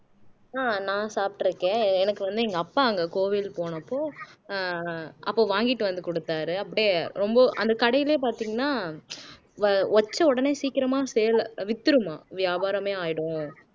ஆஹ் நான் சாப்பிட்டு இருக்கேன் எனக்கு வந்து எங்க அப்பா அங்க கோவில் போனப்போ அஹ் அப்ப வாங்கிட்டு வந்து கொடுத்தாரு அப்படியே ரொம்ப அந்த கடையிலயே பார்த்தீங்கன்னா வ வச்ச உடனே சீக்கிரமா sale வித்துடுமாம் வியாபாரமே ஆயிடும்